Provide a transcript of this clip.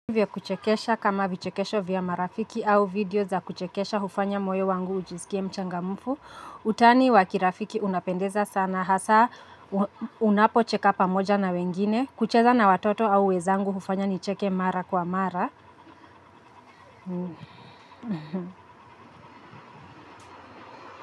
Vya kuchekesha kama vichekesho vya marafiki au video za kuchekesha hufanya moyo wangu ujisikie mchangamfu. Utani wa kirafiki unapendeza sana hasa unapo cheka pamoja na wengine. Kucheza na watoto au wenzangu hufanya nicheke mara kwa mara.